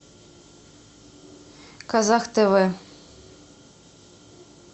казах тв